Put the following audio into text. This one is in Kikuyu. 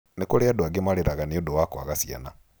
Nĩ kũrĩ andũ angĩ marĩraga nĩ ũndũ wa kwaga ciana.